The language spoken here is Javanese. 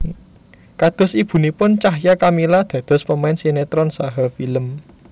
Kados ibunipun Cahya Kamila dados pemain sinétron saha film